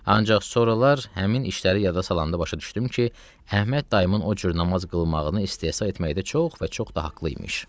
Ancaq sonralar həmin işləri yada salanda başa düşdüm ki, Əhməd dayımın o cür namaz qılmağını istehza etməkdə çox və çox da haqlı imiş.